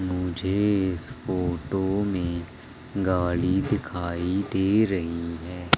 मुझे इस फोटो में गाड़ी दिखाई दे रही है।